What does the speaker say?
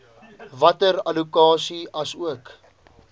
water allokasie asook